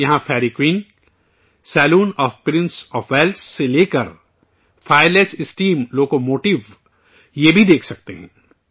آپ یہاں Fairy Queen Fairy Queen, saloon of prince of Wales saloon of princess of Wales سے لے کر fireless steam locomotive fireless steam locomotive بھی دیکھ سکتے ہیں